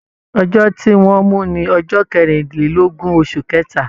Ọjọ tí wọn mú ní ọjọ kerinlelogun, oṣù kẹta.